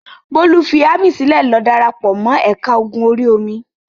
Bólú fi ámì sílẹ̀ lọ dára pọ̀ mọ́ ẹ̀ka ogun orí-omi.